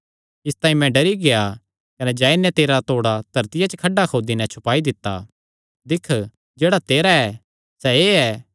इसतांई मैं डरी गेआ कने जाई नैं तेरा तोड़ा धरतिया च खड्डा खोदी नैं छुपाई दित्ता दिक्ख जेह्ड़ा तेरा ऐ सैह़ एह़ ऐ